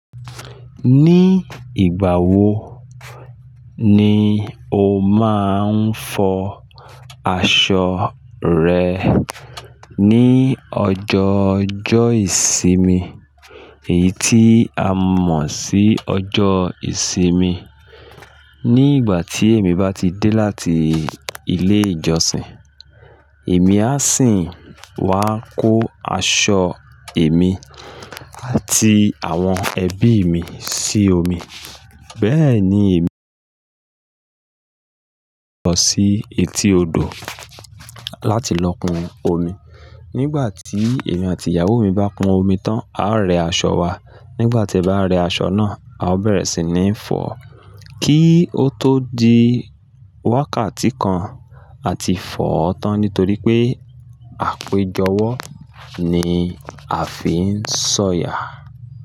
Ní ìgbà wo ni o máa ń fọ aṣọ rẹ? Ni ọjọ ọjọ́ ìsinmi, èyí tí a mọ̀ sí ọjọ́ ìsinmi. Ní ìgbà tí èmi bá ti dé láti ilé ìjọsìn, èmi á sì wá kó aṣọ èmi àti àwọn ẹbí mi sí omi. Bẹ́ẹ̀ ni èmi lọ sí etí odò láti lọ pọn omi. Nígbà tí èmi àti ìyàwó mi bá pọn omi tán, a rẹ aṣọ wa. Nígbà tí a bá rẹ aṣọ náà, a ó bẹ̀rẹ̀ sì ní fọ̀, kí ó tó di wákàtí kan a ti fọ̀ọ́ tán nítorí pé àpéjọwọ́ ni a fi ń sọ̀yà.